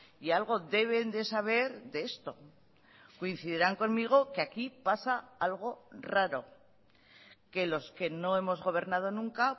y algo deben de saber de esto coincidirán conmigo que aquí pasa algo raro que los que no hemos gobernado nunca